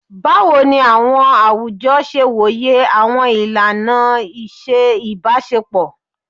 Bawo ni awọn awujọ ṣe woye awọn ilana iṣe ibaṣepọ?